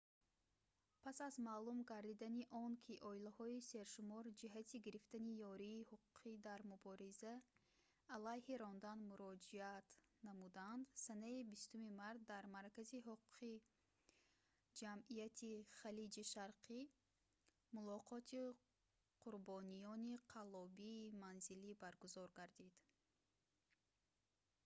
пас аз маълум гардидани он ки оилаҳои сершумор ҷиҳати гирифтани ёрии ҳуқуқӣ дар мубориза алайҳи рондан муроҷиат намуданд санаи 20 март дар маркази ҳуқуқии ҷамъияти халиҷи шарқӣ мулоқоти қурбониёни қаллобии манзилӣ баргузор гардид